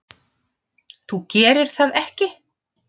Þú gerir það ekki.